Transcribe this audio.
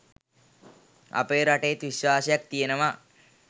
අපේ රටෙත් විශ්වාසයක් තියෙනවා